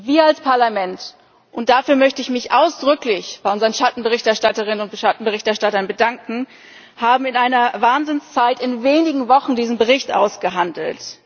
Wir als Parlament und dafür möchte ich mich ausdrücklich bei unseren Schattenberichterstatterinnen und Schattenberichterstattern bedanken haben in einer Wahnsinnszeit, in wenigen Wochen diesen Bericht ausgehandelt.